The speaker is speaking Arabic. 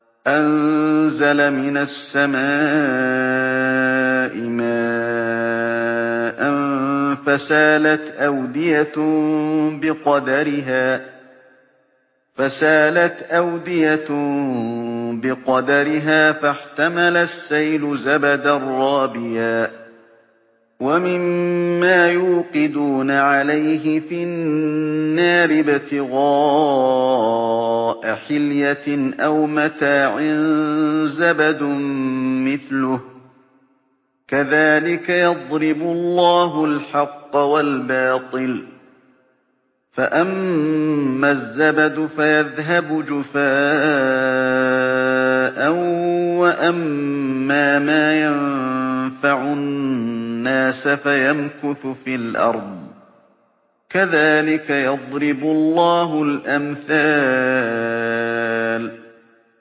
أَنزَلَ مِنَ السَّمَاءِ مَاءً فَسَالَتْ أَوْدِيَةٌ بِقَدَرِهَا فَاحْتَمَلَ السَّيْلُ زَبَدًا رَّابِيًا ۚ وَمِمَّا يُوقِدُونَ عَلَيْهِ فِي النَّارِ ابْتِغَاءَ حِلْيَةٍ أَوْ مَتَاعٍ زَبَدٌ مِّثْلُهُ ۚ كَذَٰلِكَ يَضْرِبُ اللَّهُ الْحَقَّ وَالْبَاطِلَ ۚ فَأَمَّا الزَّبَدُ فَيَذْهَبُ جُفَاءً ۖ وَأَمَّا مَا يَنفَعُ النَّاسَ فَيَمْكُثُ فِي الْأَرْضِ ۚ كَذَٰلِكَ يَضْرِبُ اللَّهُ الْأَمْثَالَ